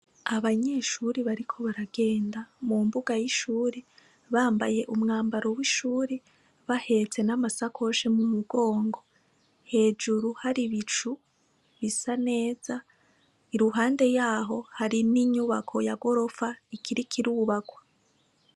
Abanyeshure bariko baragenda mu mbuga y'ishure bambaye umwambaro w'ishure bahetse n'amasakoshi mu mugongo. Hejuru hari ibicu bisa neza. Iruhande yaho hari n'inyubako ya gorofa ikiriko irubakwa.